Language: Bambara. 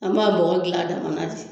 An b'a bɔgɔ dilan a damana di